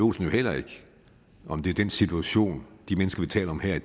olsen jo heller ikke om det er den situation de mennesker vi taler om her